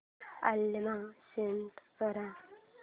alarm set कर